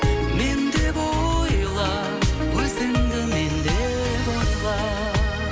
мен деп ойла өзіңді мен деп ойла